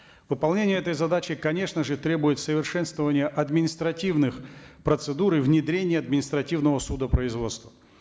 выполнение этой задачи конечно же требует совершенствования административных процедур и внедрения административного судопроизводства